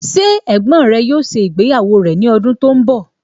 Ṣé ẹ̀gbọ́n rẹ yóò ṣe ìgbéyàwó rẹ̀ ní ọdún tó ń bọ̀?